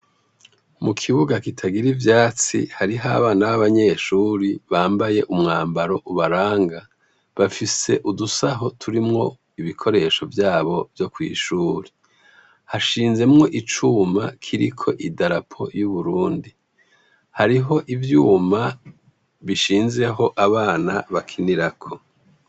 Mu kibuga kitagira ivyatsi hariho abana b'abanyeshuri bambaye umwambaro ubaranga bafise udusaho turimwo ibikoresho vyabo vyo kw'ishuri hashinzemwo icuma kiriko i darapo y'uburundi hariho ivyuma bishinze aho abana bakinirako.